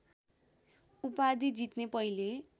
उपाधि जित्ने पहिले